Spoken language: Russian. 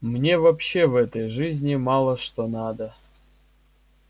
мне вообще в этой жизни мало что надо